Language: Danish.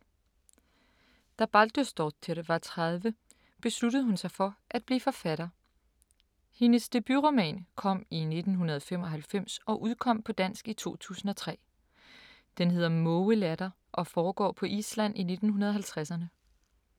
Da Baldursdóttir var 30, besluttede hun sig for at blive forfatter. Hendes debutroman kom i 1995 og udkom på dansk i 2003. Den hedder Mågelatter og foregår på Island i 1950'erne.